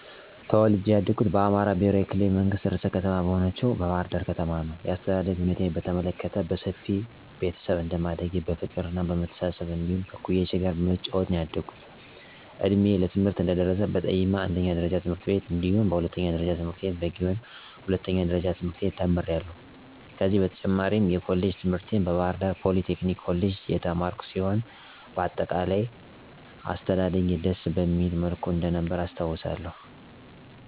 ተወልጀ ያደኩት በአማራ ክልላዊ መንግስት ርዕሰ ከተማ በሆነችው ባሕር ዳር ከተማ ነዉ። የአስተዳደግ ሁኔታዬን በተመለከት በሰፊ ቤተሰብ እንደማደጌ በፍቅርና በመተሳሰብ እንዲሁም ከእኩዮቼ ጋር በመጫወት ነዉ ያደኩት። እድሜዬ ለትምህርት እንደደረሰ በጠይማ አንደኛ ደረጃ ትምህርት ቤት እንዲሁም ሁለተኛ ደረጃ ትምህርቴን በጊዮን ሁለተኛ ደረጃ ትምህርት ቤት ተምሬያለሁ። ከዚህም በተጨማሪ የኮሌጅ ትምህርቴን በባህርዳር ፖሊቴክኒክ ኮሌጅ የተማርኩ ሲሆን በአጠቃላይ አስተዳደጌ ደስ በሚል መልኩ እንደነበረ አስታዉሳለሁ።